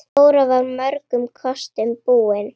Dóra var mörgum kostum búin.